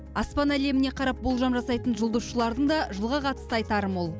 аспан әлеміне қарап болжам жасайтын жұлдызшылардың да жылға қатысты айтары мол